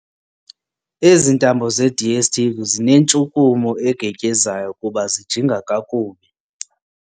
Ezi ntambo zeDSTV zinentshukumo egetyezayo kuba zijinga kakubi.